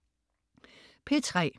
P3: